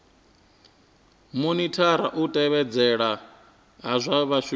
monithara u tevhedzelwa ha zwishumiswa